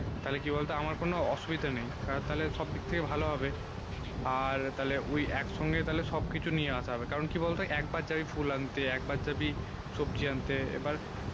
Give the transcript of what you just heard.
তালে কি বলতো আমার কোনো অসুবিধা নেই কারণ তালে সব দিক থেকে ভালো হবে আর ঐই এক সঙ্গে তালে সব কিছু নিয়ে আসা হবে কারণ কি বল তো এক বার জাবি ফুল আনতে একবার জাবি সবজি আনতে এবার